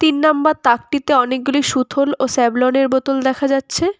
তিন নাম্বার তাকটিতে অনেকগুলি সুথল ও সেভলনের বোতল দেখা যাচ্ছে।